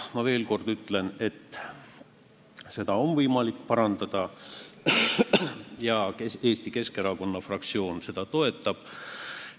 Ma veel kord ütlen, et seda on võimalik parandada ja Eesti Keskerakonna fraktsioon seda toetab.